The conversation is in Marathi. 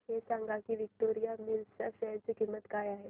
हे सांगा की विक्टोरिया मिल्स च्या शेअर ची किंमत काय आहे